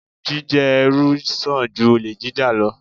Jíjẹ́ ẹrú sàn ju olè jíjà lọ.